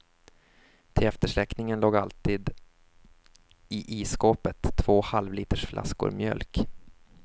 Till eftersläckningen låg alltid i isskåpet två halvlitersflaskor mjölk.